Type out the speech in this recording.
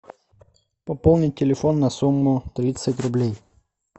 пополнить телефон на сумму тридцать рублей